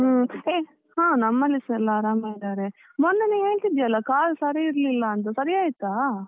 ಹ್ಮ್, ಹೇಯ್ ಹ ನಮ್ ಮನೇಲಿಸ ಎಲ್ಲಾ ಆರಾಮ ಇದ್ದಾರೆ, ಮೊನ್ನೆ ನೀನ್ ಹೇಳ್ತಿದ್ದೀಯಲ್ಲ ಕಾಲ್ ಸರಿ ಇರ್ಲಿಲ್ಲ ಅಂತ ಸರಿ ಆಯ್ತಾ?